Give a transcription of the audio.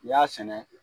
N'i y'a sɛnɛ